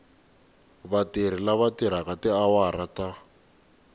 vatirhi lava tirhaka tiawara ta